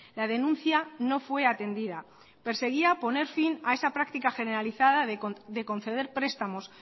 la denuncia no fue atendida perseguía poner fin a esa práctica generalizada de conceder prestamos